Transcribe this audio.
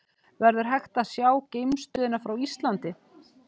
Verður hægt að sjá geimstöðina frá Íslandi?